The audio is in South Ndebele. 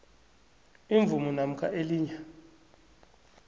imvumo namkha elinye